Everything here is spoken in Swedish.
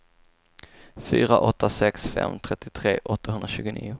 fyra åtta sex fem trettiotre åttahundratjugonio